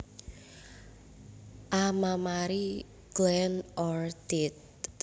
A mammary gland or teat